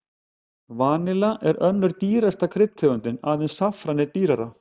Vanilla er önnur dýrasta kryddtegundin, aðeins saffran er dýrara.